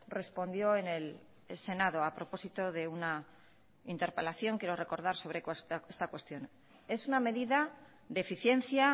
respondió en el senado a propósito de una interpelación quiero recordar sobre esta cuestión es una medida de eficiencia